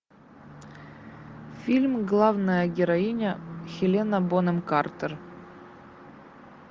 фильм главная героиня хелена бонем картер